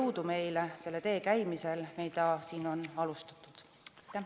Jõudu meile selle tee käimisel, mida siin on alustatud!